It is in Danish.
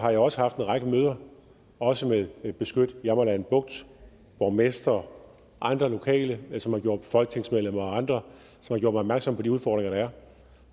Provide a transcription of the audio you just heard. har jeg også haft en række møder også med beskyt jammerland bugt borgmestre og andre lokale som har gjort mig og folketingsmedlemmer og andre opmærksom på de udfordringer der er